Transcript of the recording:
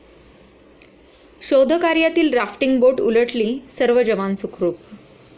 शोधकार्यातील rafting boat उलटली, सर्व जवान सुखरुप